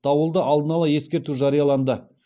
дауылды алдын ала ескерту жарияланды